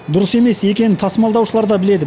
дұрыс емес екенін тасымалдаушылар да біледі